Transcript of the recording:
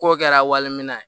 K'o kɛra wali minɛ ye